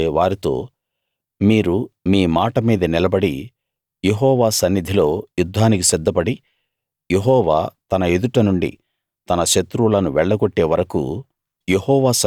అప్పుడు మోషే వారితో మీరు మీ మాట మీద నిలబడి యెహోవా సన్నిధిలో యుద్ధానికి సిద్ధపడి యెహోవా తన ఎదుటనుండి తన శత్రువులను వెళ్లగొట్టే వరకూ